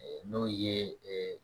N'o ye